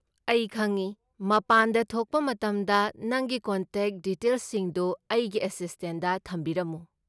ꯑꯩ ꯈꯪꯢ꯫ ꯃꯄꯥꯟꯗ ꯊꯣꯛꯄ ꯃꯇꯝꯗ ꯅꯪꯒꯤ ꯀꯣꯟꯇꯦꯛ ꯗꯤꯇꯦꯜꯁꯤꯡꯗꯨ ꯑꯩꯒꯤ ꯑꯦꯁꯤꯁꯇꯦꯟꯗ ꯊꯝꯕꯤꯔꯝꯃꯨ꯫